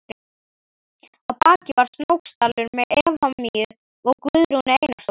Að baki var Snóksdalur með Efemíu og Guðrúnu Einarsdóttur.